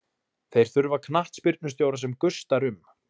Þeir þurfa knattspyrnustjóra sem gustar um.